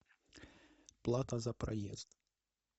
плата за проезд